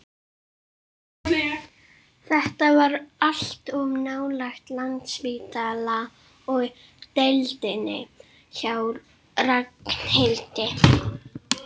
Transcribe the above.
Þetta var allt of nálægt Landspítala og deildinni hjá Ragnhildi.